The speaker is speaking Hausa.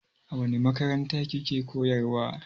A wani makaranta ki ke koyarwa?